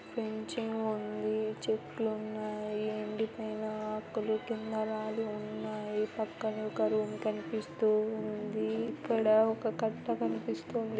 Fencing ఉంది చెట్లున్నాయి ఎండిపోయిన ఆకులు కింద రాలి ఉన్నాయి పక్కనే ఒక రూమ్ కనిపిస్తూ ఉంది ఇక్కడ ఒక కట్ట కనిపిస్తుంది.